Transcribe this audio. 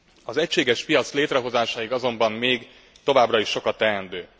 Az egységes piac létrehozásáig azonban még továbbra is sok a teendő.